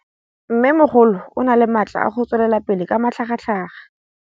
Mmêmogolo o na le matla a go tswelela pele ka matlhagatlhaga.